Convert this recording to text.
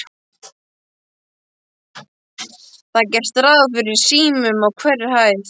Það er gert ráð fyrir símum á hverri hæð.